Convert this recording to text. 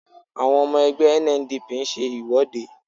Àwọn ọmọ ẹgbẹ́ NNPP ń ṣe ìwọ́de